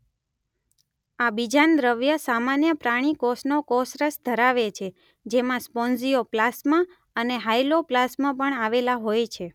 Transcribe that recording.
આ બીજાંડ દ્રવ્ય સામાન્ય પ્રાણી કોષનો કોષરસ ધરાવે છે જેમાં સ્પોન્જીઓ પ્લાસ્મ અને હાયલોપ્લાસ્મ પણ આવેલા હોય છે.